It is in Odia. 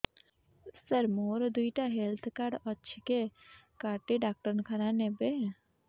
ସାର ମୋର ଦିଇଟା ହେଲ୍ଥ କାର୍ଡ ଅଛି କେ କାର୍ଡ ଟି ଡାକ୍ତରଖାନା ରେ ନେବେ